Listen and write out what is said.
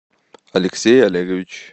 алексей олегович